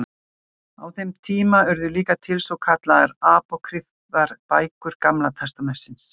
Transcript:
Á þeim tíma urðu líka til svo kallaðar Apókrýfar bækur Gamla testamentisins.